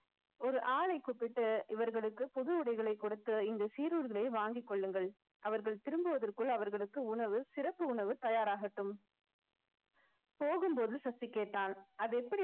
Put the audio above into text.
ஒரு ஆளை கூப்பிட்டு இவர்களுக்கு புது உடைகளை கொடுத்து இந்த சீருடைகளை வாங்கிக் கொள்ளுங்கள் அவர்கள் திரும்புவதற்குள் அவர்களுக்கு உணவு சிறப்பு உணவு தயாராகட்டும். போகும்போது சசி கேட்டால் அது எப்படி